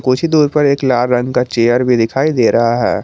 कुछ ही दूर पर एक लाल रंग का चेयर भी दिखाई दे रहा है।